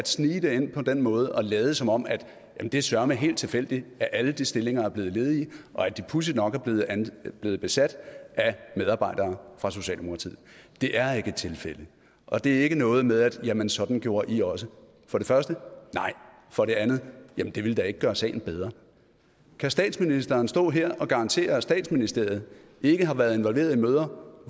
snige det ind på den måde og lade som om at det søreme er helt tilfældigt at alle de stillinger er blevet ledige og at de pudsigt nok er blevet besat af medarbejdere fra socialdemokratiet det er ikke et tilfælde og det er ikke noget med at sige jamen sådan gjorde i også for det første nej for det andet jamen det ville da ikke gøre sagen bedre kan statsministeren stå her og garantere at statsministeriet ikke har været involveret i møder